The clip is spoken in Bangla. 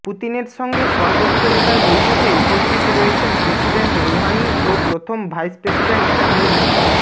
পুতিনের সঙ্গে সর্বোচ্চ নেতার বৈঠকে উপস্থিত রয়েছেন প্রেসিডেন্ট রুহানি ও প্রথম ভাইস প্রেসিডেন্ট জাহাঙ্গিরি